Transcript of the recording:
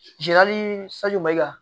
sanji mayiga